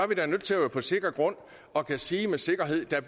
vi da nødt til at være på sikker grund og kunne sige med sikkerhed at der